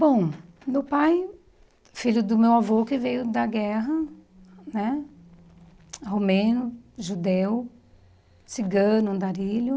Bom, meu pai, filho do meu avô que veio da guerra, né, romeno, judeu, cigano, andarilho.